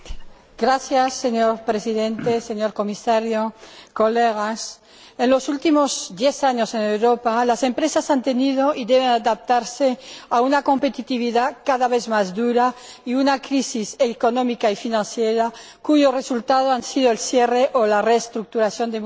Señor Presidente, señor Comisario, estimados colegas, en los últimos diez años, en Europa las empresas han tenido que adaptarse a una competitividad cada vez más dura y a una crisis económica y financiera cuyo resultado ha sido el cierre o la reestructuración de muchas de ellas.